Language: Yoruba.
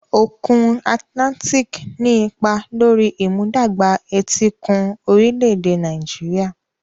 Òkun Atlantic ní ipa lórí ìmúdàgba etíkun orílẹ̀-èdè Nàìjíríà.